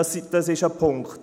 – Das ist ein Punkt.